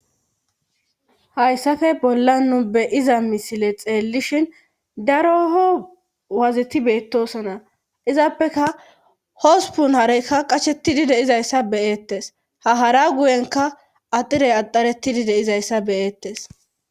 hayssafe bolla nu beyiza misile xeellishhin daroho waziti beettosona izaappeka hospun hareykka qashetidi deizayssa beyeettes hahara guyenka adirey axaretidi deizayssa beyeettes